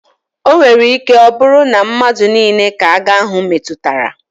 O nwere ike ọ bụrụ na madu nile ka agha ahụ metụtara.